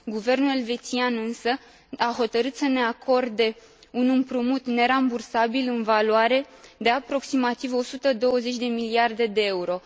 Guvernul elvețian, însă, a hotărât să ne acorde un împrumut nerambursabil în valoare de aproximativ 120 de miliarde de euro.